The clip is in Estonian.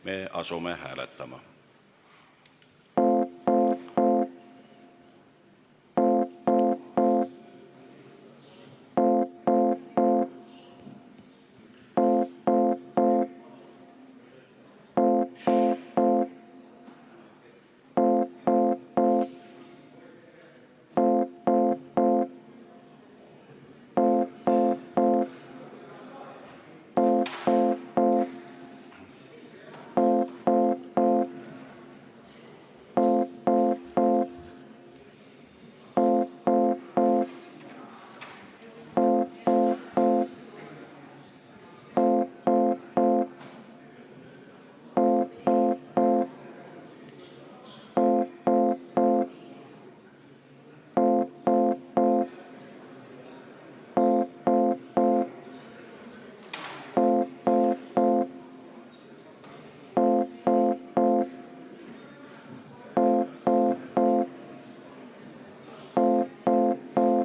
Me asume hääletama.